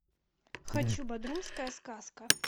хочу бодрумская сказка